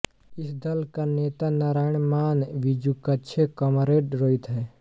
इस दल का नेता नारायण मान बिजुक्छे कमरेड रोहित है